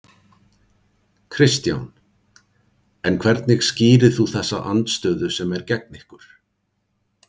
Kristján: En hvernig skýrir þú þessa andstöðu sem er gegn ykkur?